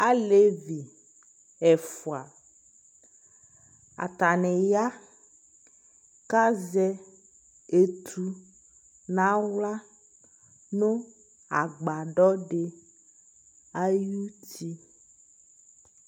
Alevi ɛfʋa : atanɩya k'azɛ etu n'aɣla nʋ agbadɔdɩ ay'uti